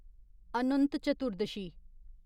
Anant Chaturdashi